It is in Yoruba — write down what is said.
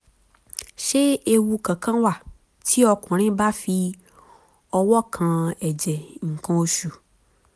ṣé ewu kankan wà tí ọkùnrin bá fi ọwọ́ kan ẹ̀jẹ̀ nǹkan oṣù?